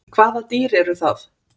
Hvaða dýr eru það?